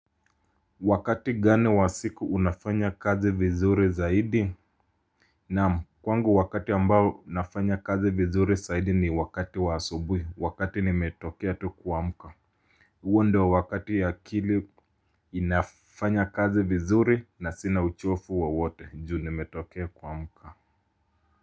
Wakati gani wa siku unafanya kazi vizuri zaidi? Naam, kwangu wakati ambao nafanya kazi vizuri zaidi ni wakati wa asubuhi, wakati nimetokea tu kuamka. Huo ndio wakati akili nafanya kazi vizuri na sina uchovu wowote juu nimetokea kuamka.